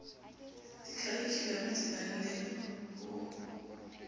dikharikhulamo di na le ho